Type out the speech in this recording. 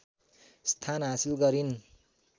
स्थान हासिल गरिन्